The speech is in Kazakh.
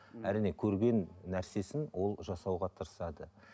ммм әрине көрген нәрсесін ол жасауға тырысады